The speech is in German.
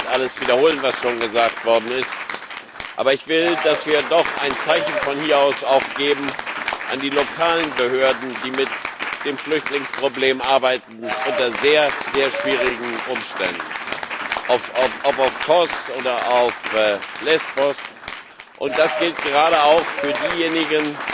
Ich will nicht alles wiederholen, was schon gesagt worden ist. Aber ich will, dass wir doch von hier aus auch ein Zeichen an die lokalen Behörden geben, die mit dem Flüchtlingsproblem arbeiten, unter sehr, sehr schwierigen Umständen ob auf Kos oder auf Lesbos. Und das gilt gerade auch für diejenigen,